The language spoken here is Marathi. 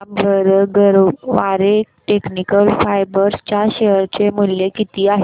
सांगा बरं गरवारे टेक्निकल फायबर्स च्या शेअर चे मूल्य किती आहे